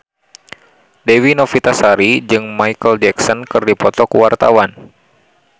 Dewi Novitasari jeung Micheal Jackson keur dipoto ku wartawan